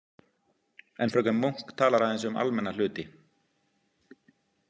En fröken Munk talar aðeins um almenna hluti.